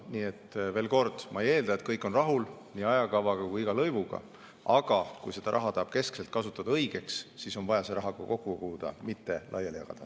Nii et veel kord: ma ei eelda, et kõik on rahul nii ajakavaga kui ka iga lõivuga, aga kui seda raha tahetakse keskselt kasutada õigeks asjaks, siis on vaja raha kokku koguda, mitte seda laiali jagada.